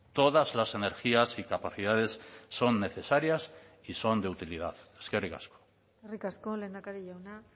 todas las energías y capacidades son necesarias y son de utilidad eskerrik asko eskerrik asko lehendakari jauna